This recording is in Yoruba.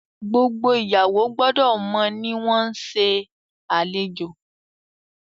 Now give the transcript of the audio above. gbogbo ìyàwó gbódò mọ ní wón ṣe nse alejò